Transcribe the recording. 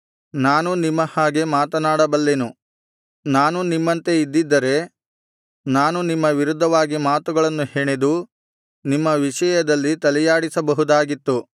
ನಾನೂ ನಿಮ್ಮ ಹಾಗೆ ಮಾತನಾಡಬಲ್ಲೆನು ನಾನು ನಿಮ್ಮಂತೆ ಇದ್ದಿದ್ದರೆ ನಾನು ನಿಮ್ಮ ವಿರುದ್ಧವಾಗಿ ಮಾತುಗಳನ್ನು ಹೆಣೆದು ನಿಮ್ಮ ವಿಷಯದಲ್ಲಿ ತಲೆಯಾಡಿಸಬಹುದಾಗಿತ್ತು